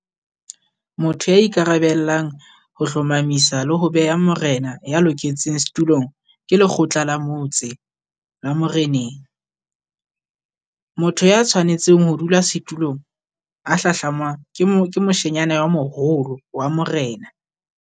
Motho ya ikarabellang ho hlomamisa le ho beha morena ya loketseng setulong ke lekgotla la motse la moreneng. Motho ya tshwanetseng ho dula setulong a hlahlamwang ke mo ke moshanyana ya moholo wa morena.